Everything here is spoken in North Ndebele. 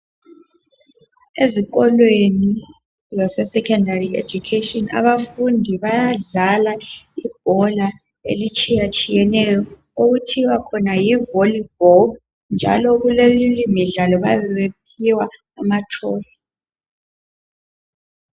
Ezikolweni lase secondary education. Abafundi bayadlala ibhola elitshiyatshiyeneyo. Okuthiwa khona yiVolleyball, njalo kule imidlalo, bayabe bephiwa amatrophy.